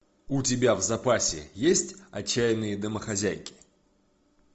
у тебя в запасе есть отчаянные домохозяйки